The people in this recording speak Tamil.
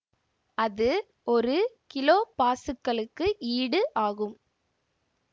அது ஒரு கிலோபாசுக்கலுக்கு ஈடு ஆகும்